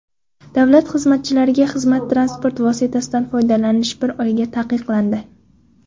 Davlat xizmatchilariga xizmat transport vositasidan foydalanish bir oyga taqiqlandi.